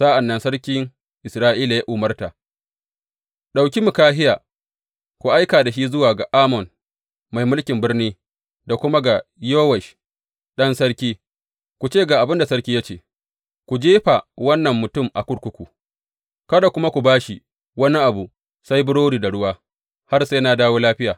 Sa’an nan sarkin Isra’ila ya umarta, Ɗauki Mikahiya ku aika da shi zuwa ga Amon mai mulkin birni da kuma ga Yowash ɗan sarki, ku ce ga abin da sarki ya ce, Ku jefa wannan mutum a kurkuku kada kuma ku ba shi wani abu sai dai burodi da ruwa har sai na dawo lafiya.’